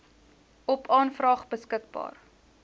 op aanvraag beskikbaar